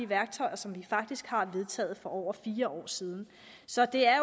værktøjer som vi faktisk har vedtaget for over fire år siden så det er